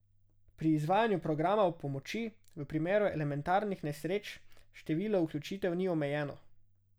Pri izvajanju programa pomoči v primeru elementarnih nesreč število vključitev ni omejeno.